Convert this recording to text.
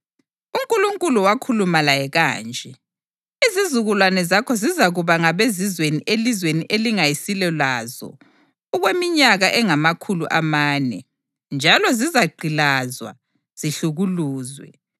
UNkulunkulu wakhuluma laye kanje: ‘Izizukulwane zakho zizakuba ngabezizweni elizweni elingayisilo lazo okweminyaka engamakhulu amane, njalo zizagqilazwa, zihlukuluzwe.